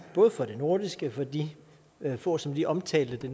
både for det nordiske for de få som lige omtalte det